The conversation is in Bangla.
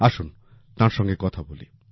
আসুন তার সঙ্গে কথা বলি